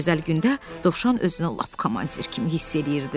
Bu gözəl gündə Dovşan özünü lap komandir kimi hiss eləyirdi.